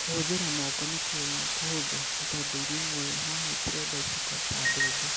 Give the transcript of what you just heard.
Kũhũthĩra moko nĩkuo kũhũthũ, nĩ tondũ irio imwe haha itirenda iciko ta mbembe.